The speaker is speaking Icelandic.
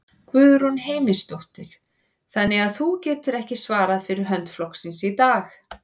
Guðrún Heimisdóttir: Þannig að þú getur ekki svarað fyrir hönd flokksins í dag?